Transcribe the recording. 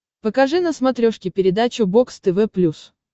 покажи на смотрешке передачу бокс тв плюс